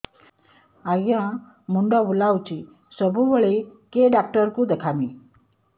ଆଜ୍ଞା ମୁଣ୍ଡ ବୁଲାଉଛି ସବୁବେଳେ କେ ଡାକ୍ତର କୁ ଦେଖାମି